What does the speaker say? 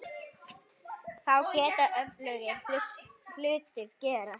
Þá geta öflugir hlutir gerst.